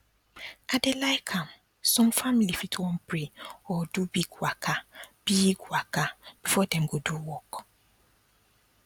i dey like am some family fit wan pray or do big waka big waka before dem go do work